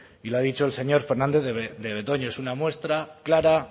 y lo ha dicho el señor fernandez de betoño es una muestra clara